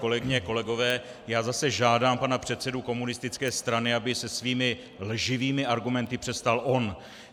Kolegyně, kolegové, já zase žádám pana předsedu komunistické strany, aby se svými lživými argumenty přestal on.